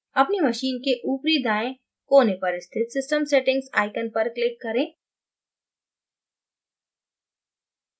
अपनी machine के ऊपरी दाएँ कोने पर स्थित system settings icon पर click करें